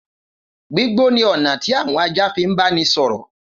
Gbígbó ni ọ̀nà tí àwọn ajá fi ń báni sọ̀rọ̀.